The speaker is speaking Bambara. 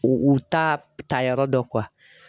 U u ta ta yɔrɔ dɔn